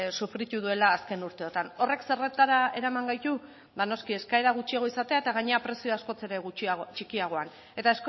sufritu duela azken urteotan horrek zertara eraman gaitu ba noski eskaera gutxiago izatera eta gainera prezio askoz ere txikiagoak eta